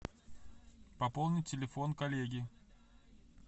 пополнить телефон коллеги